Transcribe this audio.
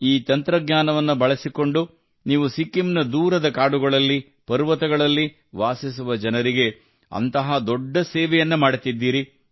ಈ ತಂತ್ರಜ್ಞಾನವನ್ನು ಬಳಸಿಕೊಂಡು ನೀವು ಸಿಕ್ಕಿಂನ ದೂರದ ಕಾಡುಗಳಲ್ಲಿ ಪರ್ವತಗಳಲ್ಲಿ ವಾಸಿಸುವ ಜನರಿಗೆ ಅಂತಹ ದೊಡ್ಡ ಸೇವೆಯನ್ನು ಮಾಡುತ್ತಿದ್ದೀರಿ